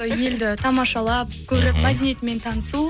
елді тамашалап көріп мәдениетімен танысу